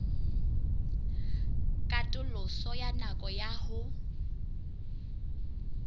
katoloso ya nako ya ho